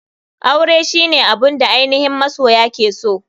Aure shine abun da ainihin masoya ke so.